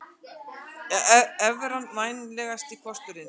Evran vænlegasti kosturinn